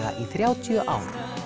þrjátíu og